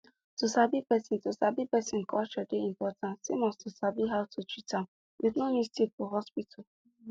to sabi person to sabi person culture dey important same as to sabi how to treat am with no mistake for hospital